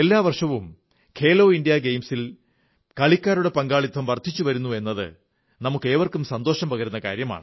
എല്ലാ വർഷവും ഖേലോ ഇന്ത്യാ ഗെയിംസിൽ കളിക്കാരുടെ പങ്കാളിത്തം വർധിച്ചു വരുന്നത് നമുക്കേവർക്കും സന്തോഷം പകരുന്നു